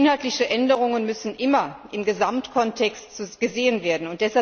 Inhaltliche Änderungen müssen immer im Gesamtkontext gesehen werden.